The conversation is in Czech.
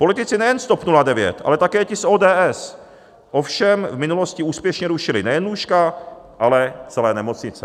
Politici nejen z TOP 09, ale také ti z ODS ovšem v minulosti úspěšně rušili nejen lůžka, ale celé nemocnice.